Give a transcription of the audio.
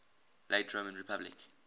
late roman republic